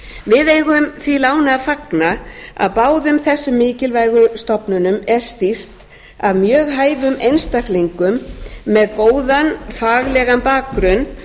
við eigum því láni að fagna að báðum þessu mikilvægu stofnunum er stýrt af mjög hæfum einstaklingum með góðan faglegan bakgrunn